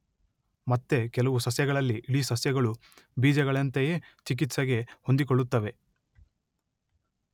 ಮತ್ತೆ ಕೆಲವು ಸಸ್ಯಗಳಲ್ಲಿ ಇಡೀ ಸಸ್ಯಗಳು ಬೀಜಗಳಂತೆಯೇ ಚಿಕಿತ್ಸೆಗೆ ಹೊಂದಿಕೊಳ್ಳುತ್ತವೆ.